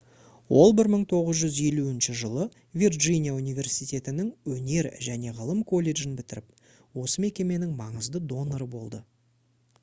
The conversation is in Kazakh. ол 1950 жылы вирджиния университетінің өнер және ғылым колледжін бітіріп осы мекеменің маңызды доноры болды